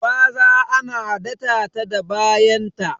Gwaza ana data ta da bayan ta